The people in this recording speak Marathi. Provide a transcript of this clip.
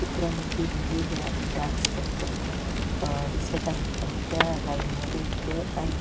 चित्रामद्धे मुली ह्या डांस करताना दिसत आहेत आणि त्या लाइन मध्ये उभ्या आहेत.